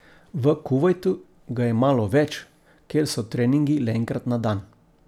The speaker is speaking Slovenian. V Kuvajtu ga je malo več, ker so treningi le enkrat na dan.